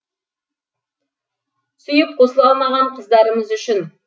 сүйіп қосыла алмаған қыздарымыз үшін